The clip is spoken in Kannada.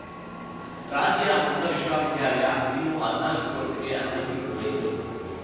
ರಾಜ್ಯ ಮುಕ್ತ ವಿಶ್ವ ವಿದ್ಯಾಲಯ ಇನ್ನೂ ಹದ್ನಾಲ್ಕು ಕೋರ್ಸಿಗೆ ಅನುಮತಿ ಮೈಸೂರು